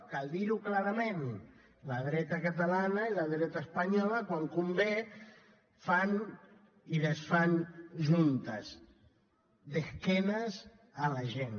cal dir ho clarament la dreta catalana i la dreta espanyola quan convé fan i desfan juntes d’esquenes a la gent